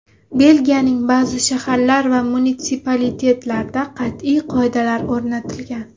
Belgiyaning ba’zi shaharlar va munitsipalitetlarida qat’iy qoidalar o‘rnatilgan.